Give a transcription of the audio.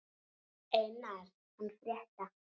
Einar hann frétta.